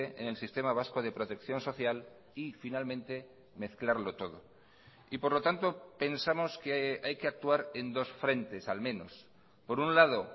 en el sistema vasco de protección social y finalmente mezclarlo todo y por lo tanto pensamos que hay que actuar en dos frentes al menos por un lado